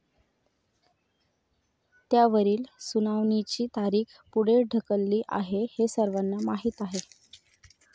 त्यावरील सुनावणीची तारीख पुढे ढकलली आहे हे सर्वांना माहीत आहे.